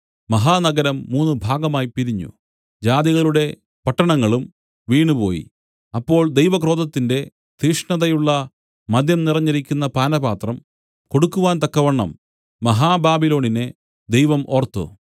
മഹാനഗരം മൂന്ന് ഭാഗമായി പിരിഞ്ഞു ജാതികളുടെ പട്ടണങ്ങളും വീണുപോയി അപ്പോൾ ദൈവക്രോധത്തിന്റെ തീഷ്ണതയുള്ള മദ്യം നിറഞ്ഞിരിക്കുന്ന പാനപാത്രം കൊടുക്കുവാൻ തക്കവണ്ണം മഹാബാബിലോണിനെ ദൈവം ഓർത്തു